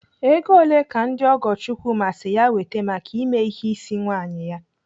Ego ole ka ndị ọgọ Chukwuma si ya wete maka ime ihe ịsị nwaanyị ya?